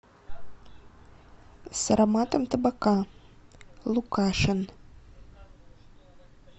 с ароматом табака лукашин